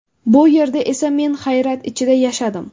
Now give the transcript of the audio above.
Bu yerda esa... Men hayrat ichida yashadim.